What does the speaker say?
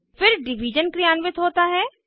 फिर डिवीज़न क्रियान्वित होता है